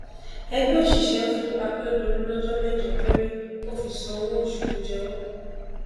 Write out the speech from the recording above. ẹgbẹ òṣìṣẹ fún akérèdólú lọjọ mẹjọ péré kò fi sanwó oṣù tó jẹ wọn